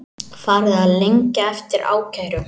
Farið að lengja eftir ákærum